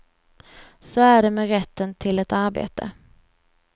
Så är det med rätten till ett arbete.